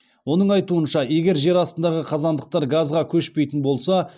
оның айтуынша егер жер астындағы қазандықтар газға көшпейтін болса